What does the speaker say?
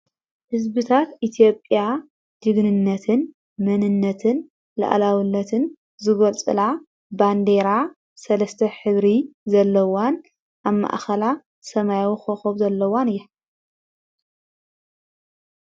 ሕዝቢታት ኢቲዮጴያ ጅግንነትን መንነትን ልዓላውነትን ዝጐልጽላ ባንዴራ ሠለስተ ኅብሪ ዘለዋን ኣብ ማእኸላ ሰማያዊ ኮኸብ ዘለዋን እያ።